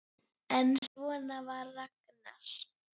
En svona var Ragnar.